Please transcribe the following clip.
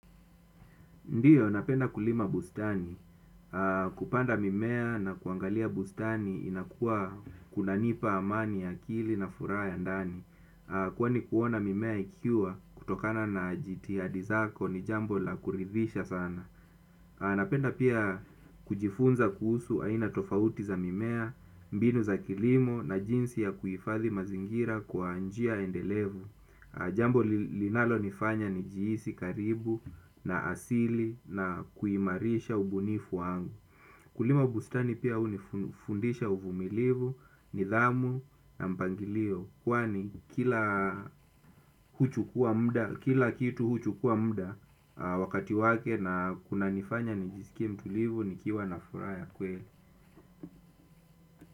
Ndiyo, napenda kulima bustani. Kupanda mimea na kuangalia bustani inakua kunanipa amani ya akili na furaha ya ndani. Kwani kuona mimea ikiwa kutokana na jitihadi zako ni jambo la kuridhisha sana. Napenda pia kujifunza kuhusu aina tofauti za mimea, mbinu za kilimo na jinsi ya kuihifathi mazingira kwa njia endelevu. Jambo linalo nifanya ni jihisi karibu na asili na kuimarisha ubunifu wangu. Kulima bustani pia hunifundisha uvumilivu, nidhamu na mpangilio. Kwani kila kitu huchukua mda wakati wake na kunanifanya nijisikie mtulivu nikiwa na furaha ya kweli.